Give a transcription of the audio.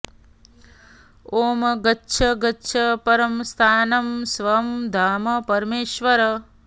ॐ गच्छ् गच्छ् परं स्थानं स्वं धाम परमेश्वर